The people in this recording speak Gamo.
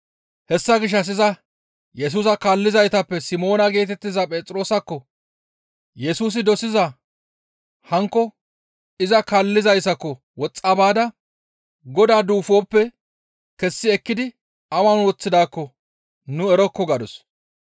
Hessa gishshas iza Yesusa kaallizaytappe Simoona geetettiza Phexroosakko Yesusi dosiza hankko iza kaallizayssako woxxa baada, «Godaa duufoppe kessi ekkidi awan woththidaakko nu erokko» gadus.